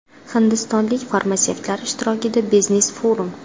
Hindistonlik farmatsevtlar ishtirokida biznes forum.